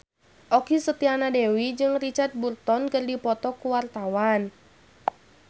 Okky Setiana Dewi jeung Richard Burton keur dipoto ku wartawan